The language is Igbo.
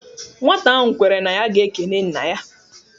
Nwata ahụ kwere na ya ga-ekene nna ya